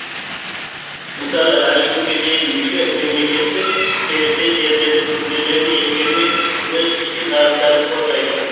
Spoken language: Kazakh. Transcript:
мысалы әлі күнге дейін мүше мемлекеттер серіктес елдердің мүдделерін ескермей өз ішкі нарықтарын қорғайды